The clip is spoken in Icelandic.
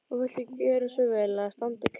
Og viltu gjöra svo vel að standa kyrr.